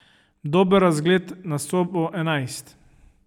Dober razgled na sobo enajst.